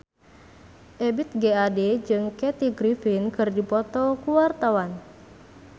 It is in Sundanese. Ebith G. Ade jeung Kathy Griffin keur dipoto ku wartawan